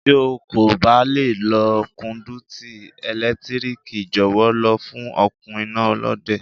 Tí o kò bá lè lo kọ́ndúítí ẹ̀lẹ́tíríkì, jọ̀wọ́ lọ fún okùn iná Olóde.